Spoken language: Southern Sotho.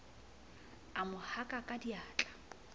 a mo haka ka diatla